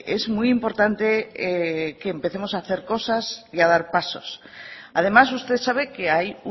es muy importante que empecemos a hacer cosas y a dar pasos además usted sabe que hay